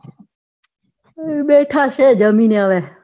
બેઠા છે જમીને હવે